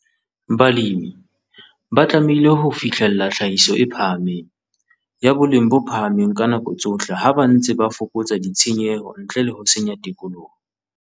Balemi ba tlamehile ho fihlella tlhahiso e phahameng, ya boleng bo phahameng ka nako tsohle ha ba ntse ba fokotsa ditshenyehelo ntle le ho senya tikoloho.